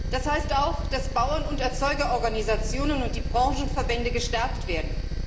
Das heißt auch, dass Bauern und Erzeugerorganisationen und die Branchenverbände gestärkt werden.